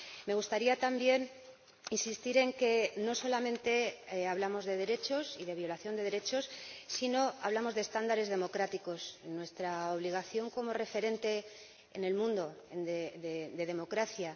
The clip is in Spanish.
Me gustaría también insistir en que no solamente hablamos de derechos y de violación de derechos, sino que hablamos de estándares democráticos, de nuestra obligación como referente en el mundo de democracia.